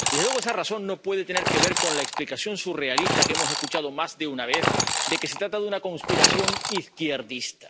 Y, desde luego, esa razón no puede tener que ver con la explicación surrealista que hemos escuchado más de una vez de que se trata de una conspiración izquierdista.